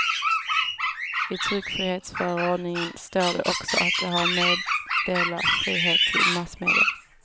I tryckfrihetsförordningen står det också att de har meddelarfrihet till massmedia.